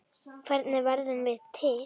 Hvernig verðum við til?